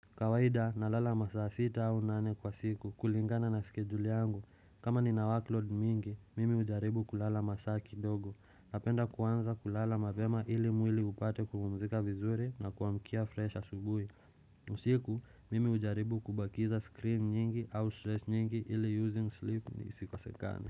Kawaida na lala masa sita au nane kwa siku kulingana na schedule yangu. Kama ni na workload mingi, mimi hujaribu kulala masaa kidogo. Napenda kuanza kulala mavema ili mwili upate kukumzika vizuri na kuamkia fresh asubuhi. Usiku, mimi hujaribu kubakiza screen nyingi au stress nyingi ili using sleep ni sikosekane.